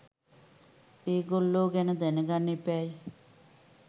ඒගොල්ලෝ ගැන දැනගන්න එපැයි.